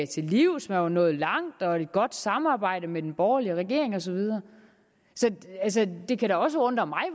til livs man var nået langt og et godt samarbejde med den borgerlige regering og så videre så det kan da også undre mig